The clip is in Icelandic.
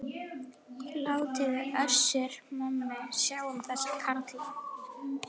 Látiði Össur-Mömmu sjá um þessa karla.